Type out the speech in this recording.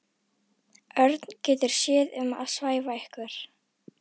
Örn getur séð um að svæfa ykkur.